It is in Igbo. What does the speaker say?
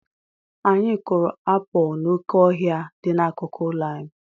Anyị kụrụ apụl n'oké ọhịa dị n'akụkụ ụlọ anyị.